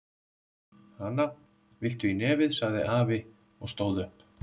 Hana, viltu í nefið? sagði afi og stóð upp.